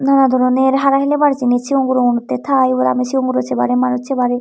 nanadroner hara hiliber jinij siyong gurogunotte tai ebod aami sigong guro separi manuj separi.